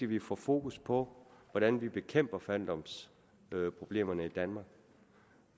vi får fokus på hvordan vi bekæmper fattigdomsproblemerne i danmark